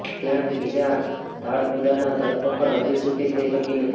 ત્યાં જ બીજા ધાડપાડુની ધરપકડ હજૂ સુધી થઇ શકી નથી